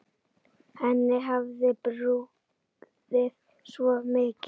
Henni hafði brugðið svo mikið.